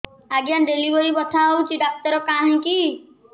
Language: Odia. ଆଜ୍ଞା ଡେଲିଭରି ବଥା ହଉଚି ଡାକ୍ତର କାହିଁ କି